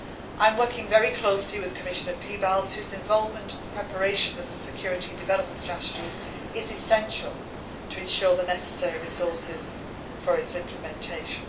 I am working very closely with Commissioner Piebalgs, whose involvement in the preparation of the security and development strategy is essential, to ensure the necessary resources for its implementation.